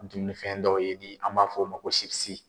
Dunminifɛn dɔw ye bi an b'a f'o ma ko sibisi.